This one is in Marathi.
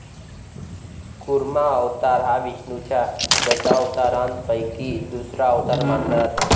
कुर्मा अवतार हा विष्णुच्या दशावतारापैकी दुसरा अवतार मानला जातो.